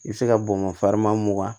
I bɛ se ka bɔn ka mugan